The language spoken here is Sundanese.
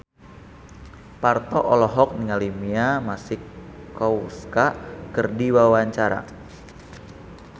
Parto olohok ningali Mia Masikowska keur diwawancara